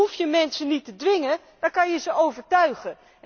Dan hoef je mensen niet te dwingen, dan kun je ze overtuigen!